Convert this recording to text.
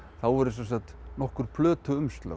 þá eru sem sagt nokkur